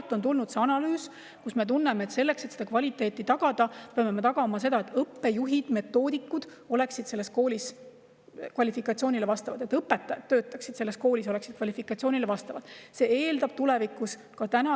Sealt on tulnud see analüüs ning me tunneme, et kvaliteedi tagamiseks peavad õppejuhid ja metoodikud koolis vastama kvalifikatsiooni, kvalifikatsiooniga õpetajad seal töötama.